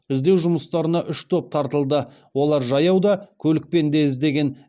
іздеу жұмыстарына үш топ тартылды олар жаяу да көлікпен де іздеген